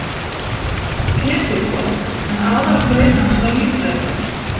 Pétursborg, en aðalgrein hans var líffræði.